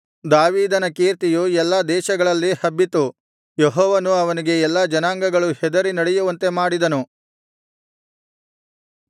ದಾವೀದನ ಕೀರ್ತಿಯು ಎಲ್ಲಾ ದೇಶಗಳಲ್ಲಿ ಹಬ್ಬಿತು ಯೆಹೋವನು ಅವನಿಗೆ ಎಲ್ಲಾ ಜನಾಂಗಗಳೂ ಹೆದರಿ ನಡೆಯುವಂತೆ ಮಾಡಿದನು